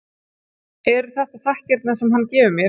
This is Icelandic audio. Eru þetta þakkirnar sem hann gefur mér?